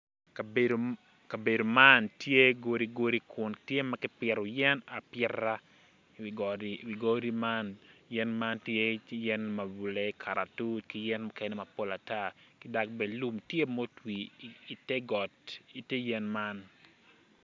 Kabedo man tye godi godi kun tye ma kipito yen apita wi godi man yen man tye yen mabule, kalatuc ki yen mukene mapol ata ki dok bene lum tye ma otwi ite yen man.